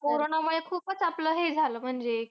कोरोनामुळे खूपच आपलं हे झालं, म्हणजे